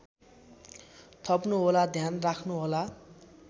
थप्नुहोला ध्यान राख्नुहोला